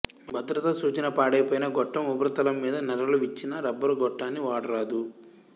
భద్రత సూచనపాడైపోయిన గొట్టం ఉపరితలంమీద నెర్రలు విచ్చిన రబ్బరు గొట్టాన్ని వాడరాదు